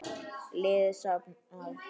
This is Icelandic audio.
Liði safnað.